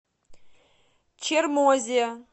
чермозе